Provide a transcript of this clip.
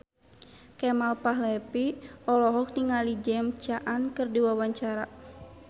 Kemal Palevi olohok ningali James Caan keur diwawancara